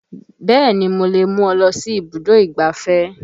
Bẹ́ẹ̀ni mo lè mú ọ lọ sí ibùdó ìgbáfẹ́